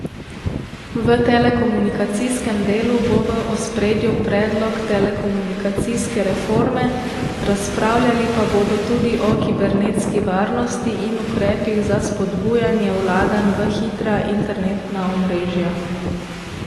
V telekomunikacijskem delu bo v ospredju predlog telekomunikacijske reforme, razpravljali pa bodo tudi o kibernetski varnosti in ukrepih za spodbujanje vlaganj v hitra internetna omrežja.